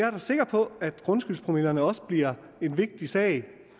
er sikker på at grundskyldspromillerne også bliver en vigtig sag